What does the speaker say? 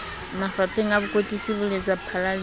mafapheng a bokwetlisi boletsaphala le